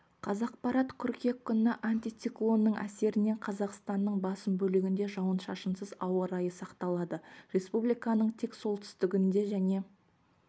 қазақпарат қыркүйек күні антициклонның әсерінен қазақстанның басым бөлігінде жауын-шашынсыз ауа райы сақталады республиканың тек солтүстігінде және